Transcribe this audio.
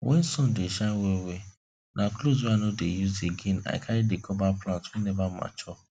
when sun dey shine wellwell na clothes wey i no dey use again i carry dey cover plants wey never too mature